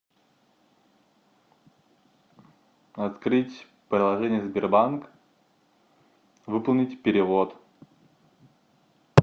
открыть приложение сбербанк выполнить перевод